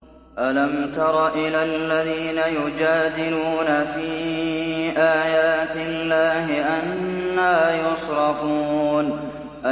أَلَمْ تَرَ إِلَى الَّذِينَ يُجَادِلُونَ فِي آيَاتِ اللَّهِ أَنَّىٰ يُصْرَفُونَ